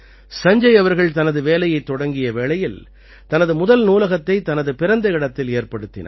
சஞ்ஜய் அவர்கள் தனது வேலைத் தொடங்கிய வேளையில் தனது முதல் நூலகத்தை தனது பிறந்த இடத்தில் ஏற்படுத்தினார்